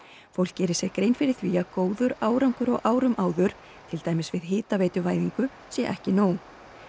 fólk geri sér grein fyrir því að góður árangur á árum áður til dæmis við hitaveituvæðingu sé ekki nóg